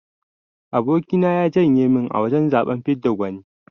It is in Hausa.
Aboki na ya janye min a wajan zaben fidda gwani.